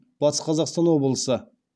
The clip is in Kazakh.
батыс қазақстан облысы